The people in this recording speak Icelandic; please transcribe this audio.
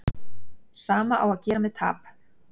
Sama á að gera með tap.